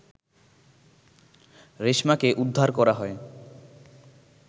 রেশমাকে উদ্ধার করা হয়